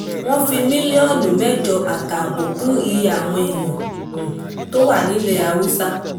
wọ́n fi mílíọ̀nù mẹ́jọ àtààbọ̀ kún iye àwọn èèyàn tí wọ́n wà nílẹ̀ haúsá